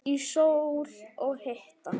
Í sól og hita.